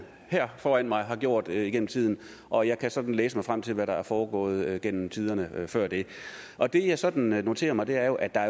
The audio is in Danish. her foran mig har gjort igennem tiden og jeg kan læse mig frem til hvad der er foregået igennem tiderne før det og det jeg sådan noterer mig er jo at der